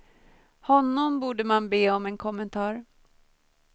Honom borde man be om en kommentar.